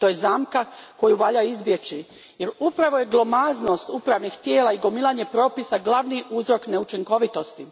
To je zamka koju valja izbjeći jer upravo je glomaznost upravnih tijela i gomilanje propisa glavni uzrok neučinkovitosti.